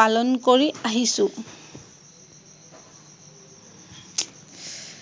পালন কৰি আহিছো।